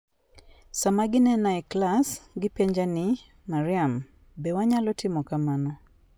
Sama ginena e klas, gipenja ni, 'Maryam, be wanyalo timo kamano?